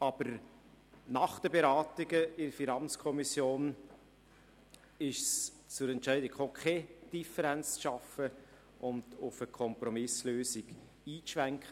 Aber nach den Beratungen in der FiKo ist es zu der Entscheidung gekommen, keine Differenz zu schaffen und auf eine Kompromisslösung einzulenken.